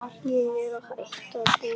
Ég er að hætta búskap.